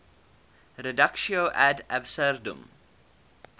reductio ad absurdum